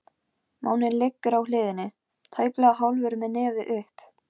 Máninn liggur á hliðinni, tæplega hálfur með nefið upp.